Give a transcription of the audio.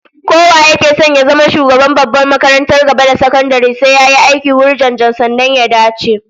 Kowa yake son ya zama shugaban babbar makarantar gaba da sakandare zai yi aiki wurjanjan, sannan sai ya dace